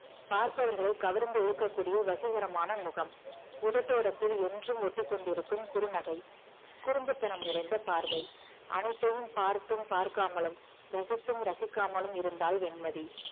பார்ப்பவர்களை கவர்ந்து இழுக்கக்கூடிய வசீகரமான முகம் உதட்டோரத்தில் என்றும் ஒட்டிக்கொண்டிருக்கும் குறுநகை குறும்புத்தனம் நிறைந்த பார்வை அனைத்தையும் பார்த்தும் பார்க்காமலும் ரசித்தும் ரசிக்காமலும் இருந்தாள் வெண்மதி